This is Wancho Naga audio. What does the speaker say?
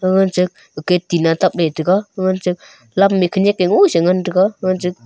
nacha gate tina ya tab taga nacha lam khanak mosi aa ngan taiga nacha.